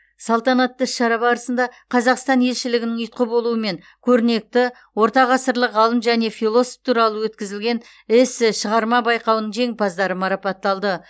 салтанатты іс шара барысында қазақстан елшілігінің ұйытқы болуымен көрнекті ортағасырлық ғалым және философ туралы өткізілген эссе шығарма байқауының жеңімпаздары марапатталды